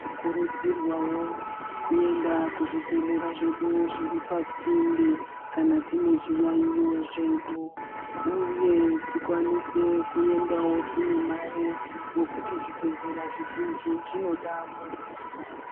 Tinokurudzirwawo kuenda kuzvibhehlera zvedu zviri pasinde kana tine zviyayiyo zvedu uye tikwanise kuendawo tine mare ngekuti zvibhehlera zvizhinji zvinoda muduso.